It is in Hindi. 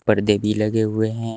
पर्दे भी लगे हुए हैं।